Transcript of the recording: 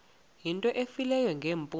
into efileyo ngeempumlo